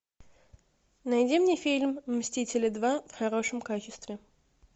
найди мне фильм мстители два в хорошем качестве